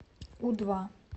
у два